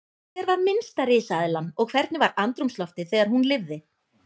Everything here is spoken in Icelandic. Hver var minnsta risaeðlan og hvernig var andrúmsloftið þegar hún lifði?